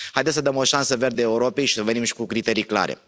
Haideți să dăm o șansă verde Europei și să venim și cu criterii clare.